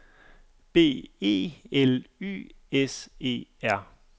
B E L Y S E R